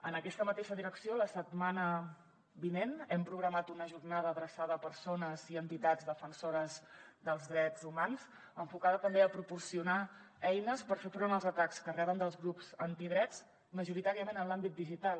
en aquesta mateixa direcció la setmana vinent hem programat una jornada adreçada a persones i entitats defensores dels drets humans enfocada també a proporcionar eines per fer front als atacs que reben dels grups antidrets majoritàriament en l’àmbit digital